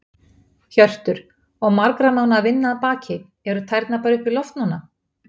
Hjörtur: Og margra mánaða vinna að baki, eru tærnar bara upp í loft núna?